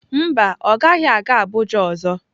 Mba, ọ gaghị aga Abuja ọzọ.